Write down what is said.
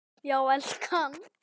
Já, elskan.